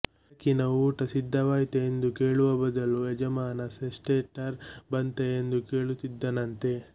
ಬೆಳಗಿನ ಊಟ ಸಿದ್ಧವಾಯಿತೆ ಎಂದು ಕೇಳುವ ಬದಲು ಯಜಮಾನ ಸ್ಟೆಕ್ಟೇಟರ್ ಬಂತೆ ಎಂದು ಕೇಳುತ್ತಿದ್ದನಂತೆ